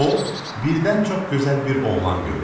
O, birdən çox gözəl bir oğlan gördü.